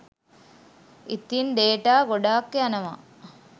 ඉතින් ඩේටා ගොඩක් යනවා